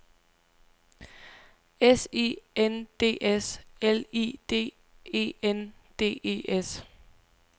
S I N D S L I D E N D E S